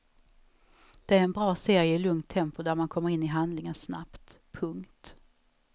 Det är en bra serie i lugnt tempo där man kommer in i handlingen snabbt. punkt